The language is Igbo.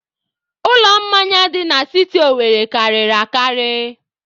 Ụlọ mmanya dị na siti Owerre karịrị akarị.